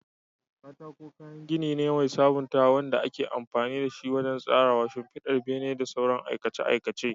Katako kayan gini ne mai sabuntawa wanda ake amfani da shi wajen tsarawa, shimfidar bene, da sauran aikace-aikace.